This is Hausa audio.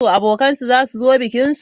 Abokan su zasu zo bikinsu?